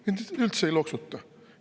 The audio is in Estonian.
Mind üldse ei loksuta.